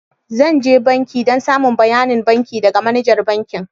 Zan je banki dan samo bayanin banki daga manajar bankin.